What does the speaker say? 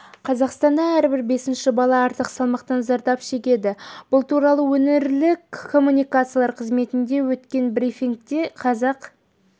қазақстанда әрбір бесінші бала артық салмақтан зардап шегеді бұл туралы өңірлік коммуникациялар қызметінде өткен брифингте қазақ